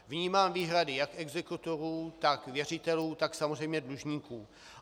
Vnímám výhrady jak exekutorů, tak věřitelů, tak samozřejmě dlužníků.